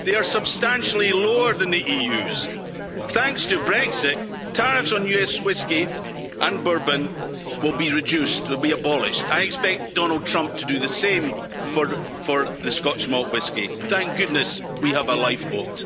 They are substantially lower than the EU's. Thanks to Brexit, tariffs on US whiskey and bourbon will be reduced they will be abolished. I expect Donald Trump to do the same for the Scotch malt whisky. Thank goodness we have a lifeboat.